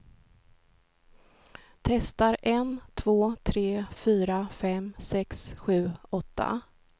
Testar en två tre fyra fem sex sju åtta.